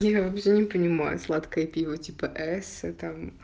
я вообще не понимаю сладкое пиво типа эссе там